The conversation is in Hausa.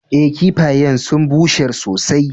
Eh, kiffayen sun busher sosai.